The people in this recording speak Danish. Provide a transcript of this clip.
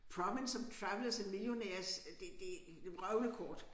Province of travelers and millionaires øh det det det vrøvlekort